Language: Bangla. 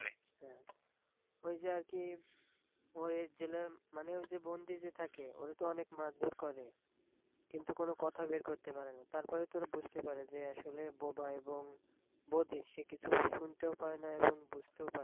ওই যে আর কি ওই জেলের মানে বন্দি যে থাকে ওরে তো অনেক মারধর করে কিন্তু কোন কথা বের করতে পারে না, তারপরে তো ওরা বুঝতে পারে যে আসলে এ বোবা এবং বধির, সে কিছু শুনতেও পায় না এবং বুঝতেও পায় না।